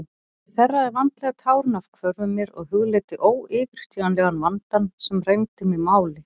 Ég þerraði vandlega tárin af hvörmum mér og hugleiddi óyfirstíganlegan vandann sem rændi mig máli.